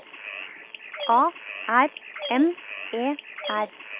A R M E R